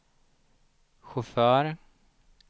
chaufför